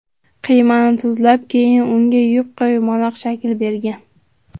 Qiymani tuzlab, keyin unga yupqa yumaloq shakl bergan.